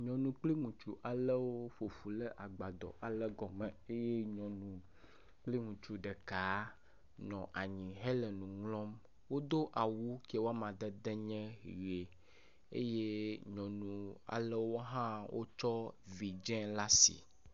Nyɔnu kpli ŋutsu alewomƒoƒu ɖe agbadɔ ale gɔme eye nyɔnu kpli ŋutsu ɖeka nɔ anyi hele nu ŋlɔm. wodo awu kie wo amadede nye ʋe eye nyɔnu alewo hã wotsɔ vidzɛ̃ ale asi.